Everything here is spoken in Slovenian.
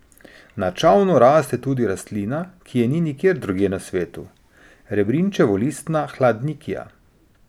Na Čavnu raste tudi rastlina, ki je ni nikjer drugje na svetu, rebrinčevolistna hladnikija.